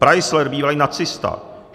Preissler, bývalý nacista.